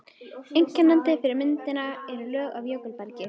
Einkennandi fyrir myndunina eru lög af jökulbergi.